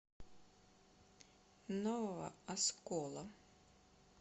нового оскола